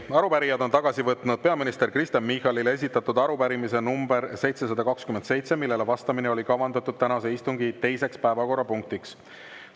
Arupärijad on tagasi võtnud peaminister Kristen Michalile esitatud arupärimise nr 727, millele vastamine oli kavandatud tänase istungi teiseks päevakorrapunktiks.